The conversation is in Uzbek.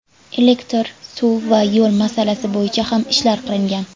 Elektr, suv va yo‘l masalasi bo‘yicha ham ishlar qilingan.